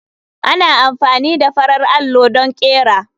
Ana amfani da farar allo don ƙera.